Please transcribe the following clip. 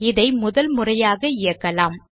இதை முதல் முறையாக இயக்கலாம்